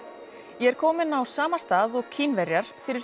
ég er kominn á sama stað og Kínverjar fyrir